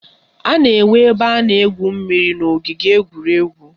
A na-enwe ebe a na-egwu mmiri n'ogige egwuregwu